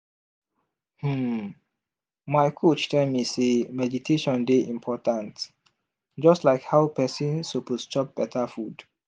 hmm my coach tell me sey meditation dey important just like how person suppose chop beta food.